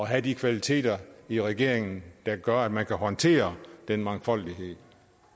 have de kvaliteter i regeringen der gør at man kan håndtere den mangfoldighed